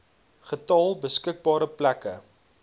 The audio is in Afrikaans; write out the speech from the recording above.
getal beskikbare plekke